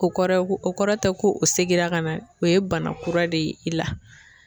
O kɔrɔ ko o kɔrɔ tɛ ko o seginna ka na o ye bana kura de ye i la.